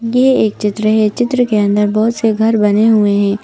यह एक चित्र है चित्र के अंदर बहुत से घर बने हुए हैं।